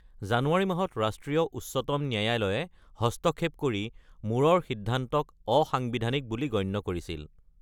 জানুৱাৰী মাহত ৰাষ্ট্ৰীয় উচ্চতম ন্যায়ালয়ে হস্তক্ষেপ কৰি মূৰৰ সিদ্ধান্তক অসাংবিধানিক বুলি গণ্য কৰিছিল।